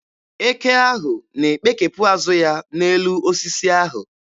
Eke ahụ na-ekpekepụ azụ ya n'elu osisi ahụ.